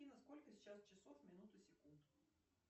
афина сколько сейчас часов минут и секунд